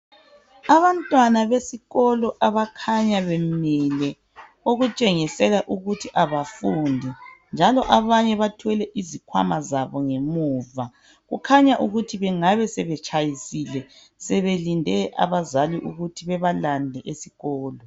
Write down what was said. Abantwana besikolo abakhanya bemile okutshengisela ukuthi abafundi njalo abanye bathwele izikwama zabo ngemuva kukhanya ukuthi bengabe sebetshayisile sebelinde abazali ukuthi bebalande esikolo.